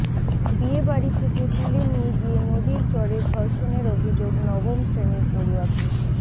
বিয়ে বাড়ি থেকে তুলে নিয়ে গিয়ে নদীর চরে ধর্ষণের অভিযোগ নবম শ্রেণির পড়ুয়াকে